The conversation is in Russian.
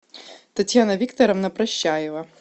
татьяна викторовна прощаева